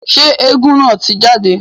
Ṣe éégún naa ti jade?